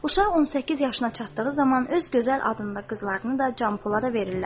Uşaq 18 yaşına çatdığı zaman öz gözəl adında qızlarını da Canpolada verirlər.